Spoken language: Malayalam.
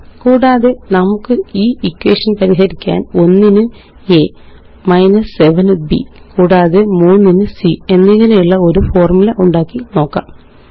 കൂടാതെ നമുക്കീ എക്വേഷന് പരിഹരിക്കാന് 1 ന് അ 7 ന് ബ് കൂടാതെ 3 ന് c എന്നിങ്ങനെയുള്ള ഒരു ഫോര്മുലയുണ്ടാക്കി നോക്കാം